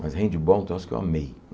Mas handbol, um troço que eu amei.